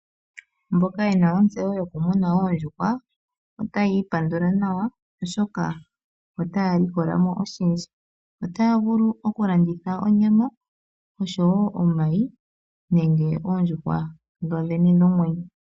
Mboka yena ontseyo yokumuna oondjuhwa otaya ipandula nawa oshoka otaya likola mo oshindji. Otaya vulu okulanditha onyama oshowo omayi nenge oondjuhwa dhodhene dhomwenyo.